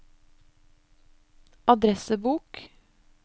adressebok